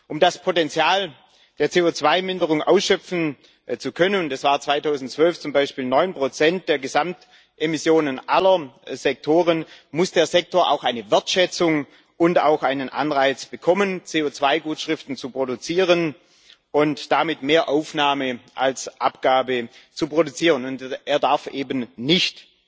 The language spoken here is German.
Um das Potenzial der CO2 Minderung ausschöpfen zu können das war 2012 zum Beispiel 9 der Gesamtemissionen aller Sektoren muss der Sektor auch eine Wertschätzung und einen Anreiz bekommen, CO2 Gutschriften zu produzieren und damit mehr Aufnahme als Abgabe zu produzieren. Und er darf eben nicht